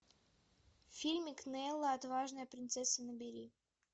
фильмик нела отважная принцесса набери